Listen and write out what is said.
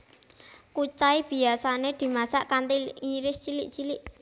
Kucai biyasané dimasak kanthi ngiris cilik cilik